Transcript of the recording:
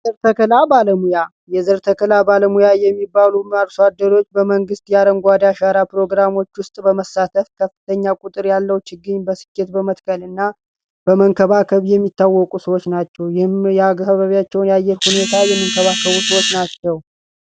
የዘርተክላ ባለሙያ የዘርተክላ ባለሙያ የሚባሉ አርሷደሮች በመንግሥት የአረንጓዴ አሻራ ፕሮግራሞች ውስጥ በመሳተፍ ከፍተኛ ቁጥር ያለው ችግኝ በስኬት በመትከል እና በመንከባከብ የሚታወቁ ሰዎች ናቸው ይህም የአበቢያቸውን ያየር ሁኔታ የሚንከባከቡ ሰዎች ናቸው።